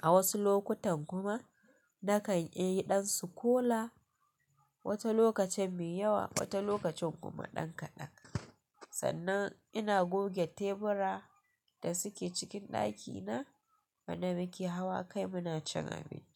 A wasu lokutan kuma nakan iya ɗan sukola, wata lokacin mai yawa, wata lokacin kuma ɗan kaɗan. Sannan ina goge tebura da suke cikin ɗakina wanda muke hawa kai muna cin abinci.